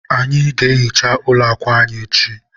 anyị ga-ehicha ụlọ akwa anyị echi